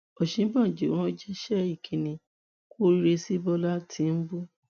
òsínbàjò ránṣẹ ìkíní kù oríire sí bọlá tìnúbú